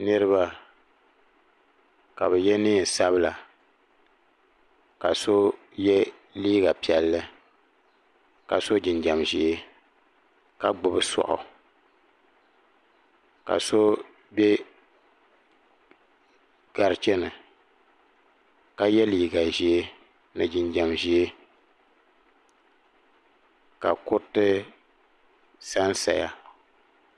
Niriba ka bɛ ye niɛn'sabla ka so ye liiga piɛlli ka so jinjiɛm ʒee ka gbibi soaɣu ka so be garicheni ka ye liiga ʒee ni jinjiɛm ʒee ka kuriti sansaya.